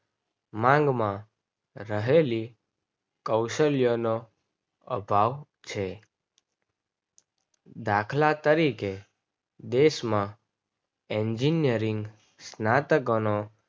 માંગ માં રહેલી કૌશલ્ય નો અભાવ છે. દાખલા તરીકે દેશમાં Engineering સ્નાતકોનો